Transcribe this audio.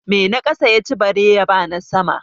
Mai na ƙasa ya ci bare ya ba na sama?